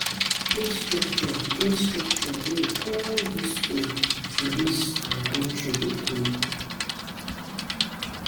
E get structure wey all di skools for dis country dey follow.